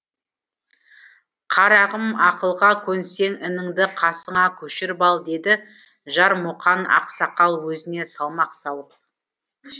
қарағым ақылға көнсең ініңді қасыңа көшіріп ал деді жармұқан ақсақал өзіне салмақ салып